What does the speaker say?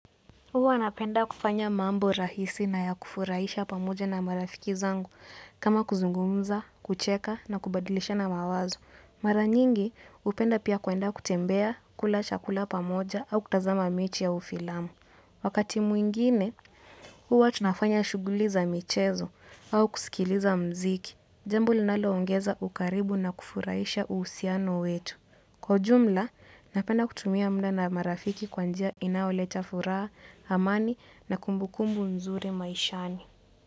Huwa napenda kufanya mambo rahisi na ya kufurahisha pamoja na marafiki zangu kama kuzungumza, kucheka na kubadilishana mawazo. Mara nyingi, upenda pia kuenda kutembea kula chakula pamoja au kutazama mechi au filamu. Wakati mwingine, huwa tunafanya shughuli za michezo au kusikiliza mziki. Jambo linaloongeza ukaribu na kufurahisha uhusiano wetu. Kwa ujumla, napenda kutumia mda na marafiki kwa njia inayoleta furaha, amani na kumbukumbu nzuri maishani.